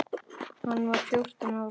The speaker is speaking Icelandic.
Hann var fjórtán ára.